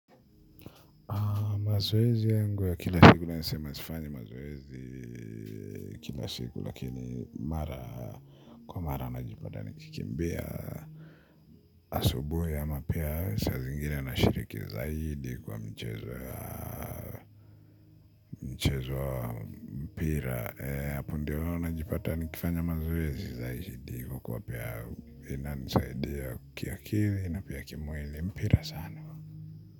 Mazoezi yangu ya kila siku naeza sema sifanyi mazoezi kila siku lakini mara kwa mara najipata nikikimbia asubuhi ama pia saa zingine nashiriki zaidi kwa michezo ya mchezo wa mpira hapo ndio najipata nikifanya mazoezi zaidi kwa kuwa pia inanisaidia kiakili na pia kimwili mpira sana.